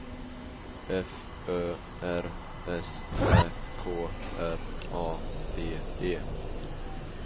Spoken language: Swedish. F Ö R S Ä K R A D E